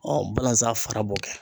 balazan fara b'o kɛ.